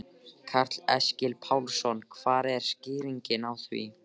Karl Eskil Pálsson: Hver er skýringin á því?